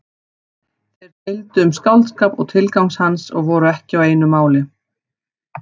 Þeir deildu um skáldskap og tilgang hans og voru ekki á einu máli.